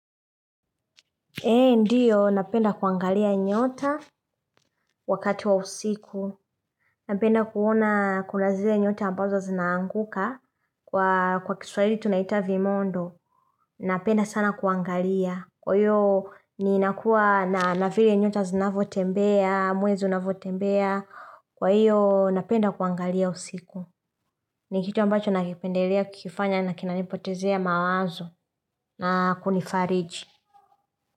Ee ndiyo napenda kuangalia nyota wakati wa usiku napenda kuona kuna zile nyota ambazo zinaanguka kwa kiswaili tunaita vimondo napenda sana kuangalia kuyo ni nakuwa na navili nyota zinavotembea mwezi unavotembea kwa hiyo napenda kuangalia usiku ni kitu ambacho nakipendelea kukifanya na kinanipotezea mawazo na kunifariji.